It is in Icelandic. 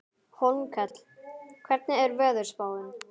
Hólmkell, hvernig er veðurspáin?